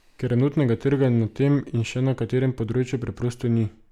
Ker enotnega trga na tem in še na katerem področju preprosto ni.